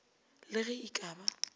le ge e ka ba